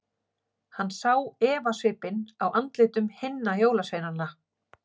Hann sá efasvipinn á andlitum hinna jólasveinana.